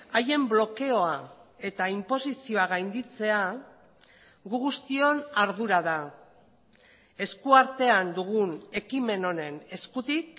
haien blokeoa eta inposizioa gainditzea gu guztion ardura da eskuartean dugun ekimen honen eskutik